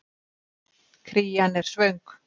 Krían er svöng.